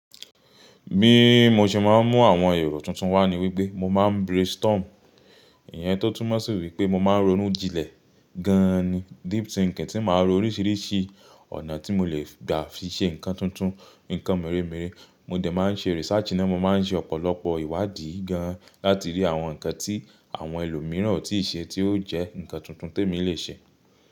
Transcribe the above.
Bí mo ṣe máa ń mú àwọn èrò tuntun wá ni wípé mo máa ń brainstorm, ìyẹn tó tún mọ̀ sí wípé mo máa ń ronú jinlẹ̀ gan ni, deep thinking tí màá ro oríṣìíríṣìí ọ̀nà tí mo lè gbà fi ṣe nǹkan tuntun, nǹkan mèremère, mo dẹ̀ máa ń ṣe research náà mo máa ń ṣe ọ̀pọ̀lọpọ̀ ìwádìí gan láti rí àwọn nǹkan tí àwọn ẹlòmíràn ò tí ì ṣe tí ó jẹ́ nǹkan tuntun tí èmi lè ṣe.